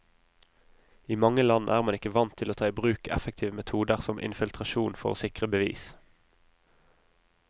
I mange land er man ikke vant til å ta i bruk effektive metoder som infiltrasjon for å sikre bevis.